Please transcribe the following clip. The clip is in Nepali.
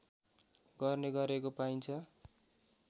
गर्ने गरेको पाइन्छ